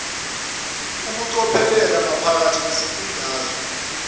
ukucophelela maphakathi nesifundazwe